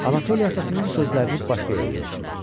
Anatoli atasının sözlərini başqa yerə yozdu.